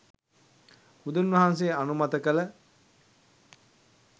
බුදුන් වහන්සේ අනුමත කළ